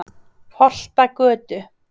Holtagötu